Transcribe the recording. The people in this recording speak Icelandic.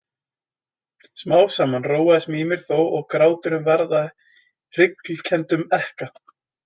Smám saman róaðist Mímir þó og gráturinn varð að hryglukenndum ekka.